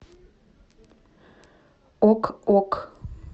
ок ок